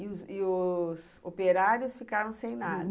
E os os operários ficaram sem nada?